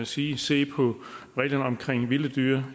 sige at se på reglerne om vilde dyr